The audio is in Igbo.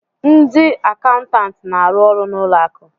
Ndị akaụntantị na-arụ ọrụ na ụlọ akụ